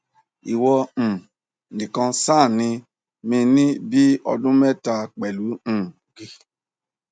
iwọ um nìkan ṣàní mi ní bí ọdún mẹta pẹlú um g